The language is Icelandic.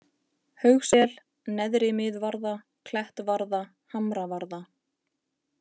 Haugssel, Neðri-Miðvarða, Klettvarða, Hamravarða